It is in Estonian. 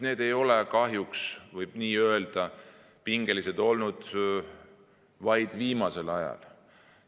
Need ei ole, kahjuks võib nii öelda, pingelised olnud vaid viimasel ajal.